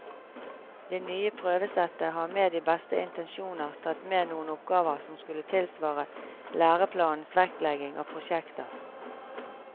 Det nye prøvesettet har med de beste intensjoner tatt med noen oppgaver som skulle tilsvare læreplanens vektlegging av prosjekter.